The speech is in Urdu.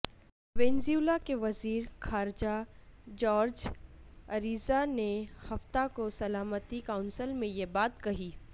وینزویلا کے وزیر خارجہ جارج اریزا نے ہفتہ کو سلامتی کونسل میں یہ بات کہی